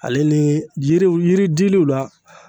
Ale ni yiriw yiri diliw la